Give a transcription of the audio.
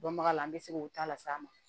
Dɔnbaga la an bɛ se k'o ta lase a ma